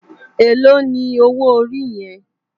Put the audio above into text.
Éló ni ówó óri yèn?